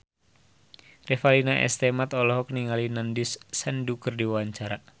Revalina S. Temat olohok ningali Nandish Sandhu keur diwawancara